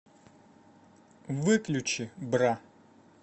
выключи бра